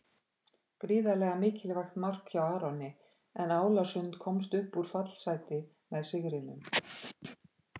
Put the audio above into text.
Gríðarlega mikilvægt mark hjá Aroni, en Álasund komst upp úr fallsæti með sigrinum.